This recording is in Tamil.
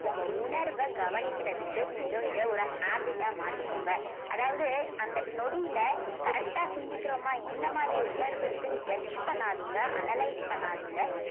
உங்க உணர்வை கவனிக்கிறதுக்கு நீங்க இத ஒரு habit ஆ மாத்திக்கோங்க அதாவது அந்த நொடியில correct ஆ சிந்திக்கிறோமா என்னமாரி உணர்வு இருக்குன்னு judge பண்ணாதீங்க analyse பண்ணாதீங்க